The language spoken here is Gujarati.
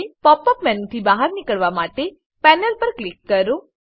પોપ અપ મેનુથી બહાર નીકળવા માટે પેનલ પર ક્લિક કરો